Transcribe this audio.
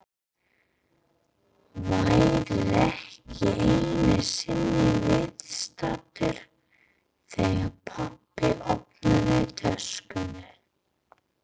Væri ekki einu sinni viðstaddur þegar pabbi opnaði töskuna.